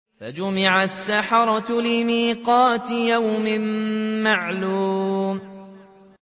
فَجُمِعَ السَّحَرَةُ لِمِيقَاتِ يَوْمٍ مَّعْلُومٍ